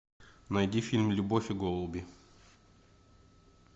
найди фильм любовь и голуби